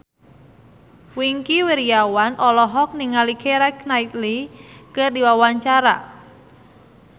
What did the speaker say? Wingky Wiryawan olohok ningali Keira Knightley keur diwawancara